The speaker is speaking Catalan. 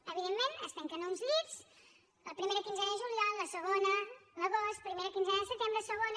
evidentment es tanquen uns llits la primera quinzena de juliol la segona a l’agost primera quinzena de setembre segona